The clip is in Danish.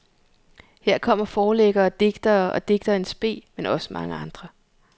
Her kommer forlæggere og digtere og digtere in spe, men også mange andre.